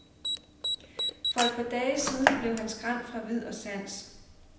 For et par dage siden blev han skræmt fra vid og sans.